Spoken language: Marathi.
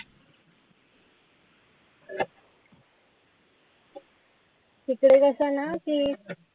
तिकडे कसं ना की